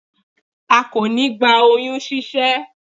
a kò ní gba oyún ṣíṣẹ́